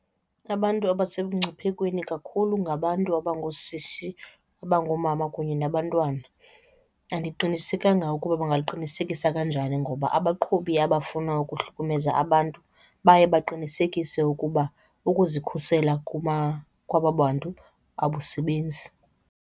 Abantu abasemngciphekweni kakhulu ngabantu abangoosisi, abangoomama kunye nabantwana. Andiqinisekanga ukuba bangaliqinisekisa kanjani ngoba abaqhubi abafuna ukuhlukumeza abantu baye baqinisekise ukuba ukuzikhusela kwaba bantu abusebenzi.